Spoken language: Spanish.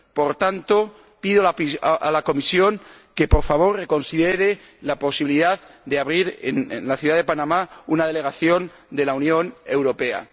Por tanto, pido a la Comisión que, por favor, reconsidere la posibilidad de abrir en la ciudad de Panamá una delegación de la Unión Europea.